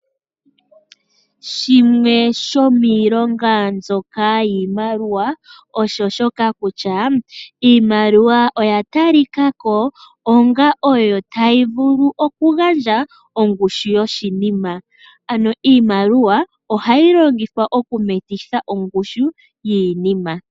Shimwe shomiilonga mbyoka yiimaliwa osho shoka kutya iimaliwa oya tali ka ko onga oyo tayi vulu okugandja ongushu yoshinima. Ano iimaliwa oha yi longithwa oku metitha ongushu yiinima.